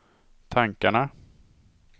tankarna